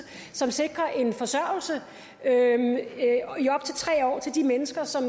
som sikrer en forsørgelse i op til tre år til de mennesker som